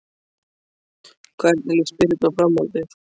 Hvernig líst Birnu á framhaldið?